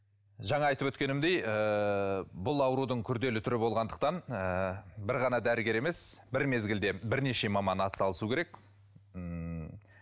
жаңа айтып өткенімдей ыыы бұл аурудың күрделі түрі болғандықтан ы бір ғана дәрігер емес бір мезгілде бірнеше маман атсалысу керек ммм